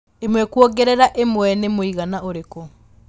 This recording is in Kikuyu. ĩmwe kũongerera ĩmwe nĩmwĩigana ũrĩkũ